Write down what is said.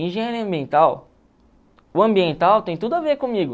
Engenharia ambiental, o ambiental tem tudo a ver comigo.